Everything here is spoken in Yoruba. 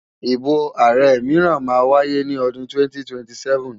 Ìbò ààrẹ mìíràn máa wáyé ní odun 2027.